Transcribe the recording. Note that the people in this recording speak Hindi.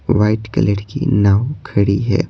वाइट कलर की नाव खड़ी है।